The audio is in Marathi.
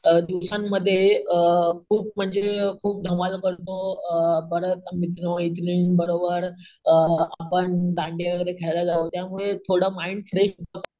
अम दिवसांमध्ये अम खूप म्हणजे खूप धमाल करतो अम परत मित्र मैत्रिणींबरोबर आपण अम दांडिया वगैरे खेळायला जाऊ त्यामुळे थोडं माईंड फ्रेश होत